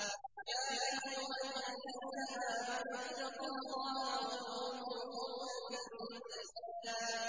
يَا أَيُّهَا الَّذِينَ آمَنُوا اتَّقُوا اللَّهَ وَقُولُوا قَوْلًا سَدِيدًا